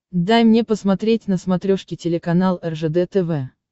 дай мне посмотреть на смотрешке телеканал ржд тв